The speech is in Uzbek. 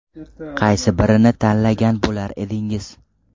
Qaysi birini tanlagan bo‘lar edingiz?